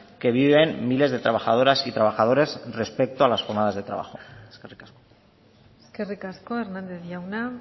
que viven miles de trabajadoras y trabajadores respecto a las jornadas de trabajo eskerrik asko eskerrik asko hernandez jauna